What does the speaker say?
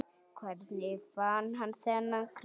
Hvernig fann hann þennan kraft?